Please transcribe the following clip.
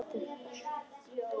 Þau stukku bæði á fætur.